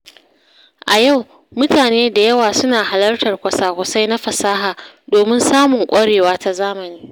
A yau, mutane da yawa suna halartar kwasa-kwasai na fasaha domin samun ƙwarewa ta zamani.